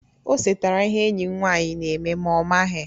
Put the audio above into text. O setara ihe enyi m nwanyị na-eme ma ọ maghị.